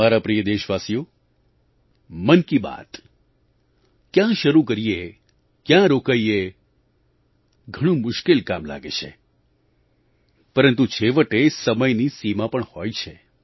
મારા પ્રિય દેશવાસીઓ મન કી બાત ક્યાં શરૂ કરીએ ક્યાં રોકાઈએઘણું મુશ્કેલ કામ લાગે છે પરંતુ છેવટે સમયની સીમા પણ હોય છે